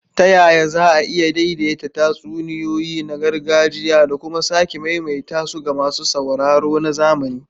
Ta yaya za a iya daidaita tatsuniyoyi na gargajiya da kuma sake maimaita su ga masu sauraro na zamani?